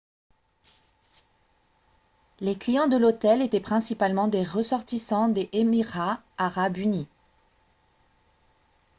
les clients de l'hôtel étaient principalement des ressortissants des émirats arabes unis